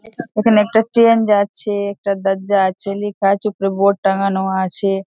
এখানে একটা চেঞ্জ আছে একটা দরজা আছে লিখা আছে। উপরে বোর্ড টানানো আছে।